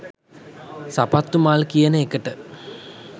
සපත්තු මල් කියන එකට